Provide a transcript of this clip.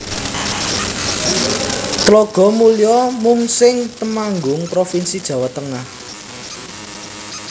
Tlogomulyo Mungseng Temanggung provinsi Jawa Tengah